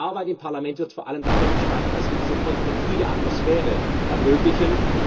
Denn die Arbeit im Parlament wird vor allem dadurch gestaltet, dass wir diese konstruktive Atmosphäre ermöglichen.